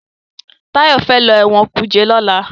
Tayo fè ló Ẹ̀wọ̀n kuje lọla.